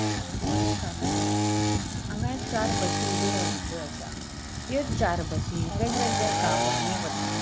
हांगा एक बस स्थानक असा हांगा एक चार बस ऊबे राविल्यो असा यो चार बसि वेगवेगळ्या गावानी वता.